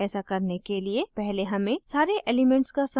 ऐसा करने के लिए पहले हमें सारे elements का समूह बनाना चाहिए